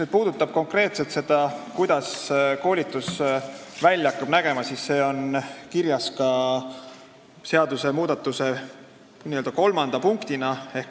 Mis puudutab seda, kuidas koolitus välja hakkab nägema, siis see on kirjas seadusmuudatuse n-ö kolmanda punktina.